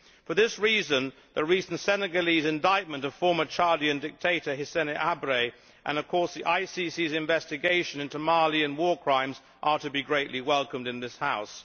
For this reason, the recent Senegalese indictment of former Chadian dictator Hissène Habré, and of course the ICC's investigation into Malian war crimes, are to be greatly welcomed in this House.